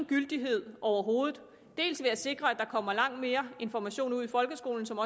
gyldighed overhovedet dels ved at sikre at der kommer langt mere information ud i folkeskolen som